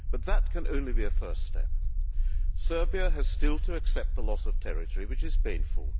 But that can only be a first step. Serbia has still to accept the loss of territory, which is painful.